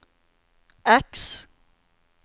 X